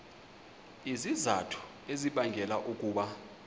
izizathu ezibangela ukuba